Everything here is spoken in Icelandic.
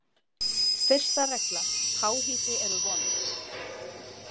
Fyrsta regla: Háhýsi eru vond.